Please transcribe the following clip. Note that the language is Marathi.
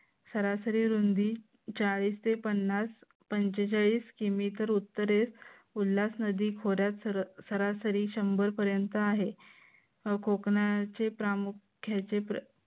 सरासरी रुंदी जाळीचे पन्नास पंचेचाळीस किमी तर उत्तरेस उल्हास नदीखोऱ्यात सरासरी शंभर पर्यंत आहे. व कोकणाचे प्रामुख्याने